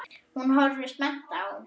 Hún horfir spennt á.